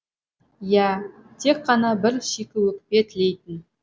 иә тек қана бір шикіөкпе тілейтін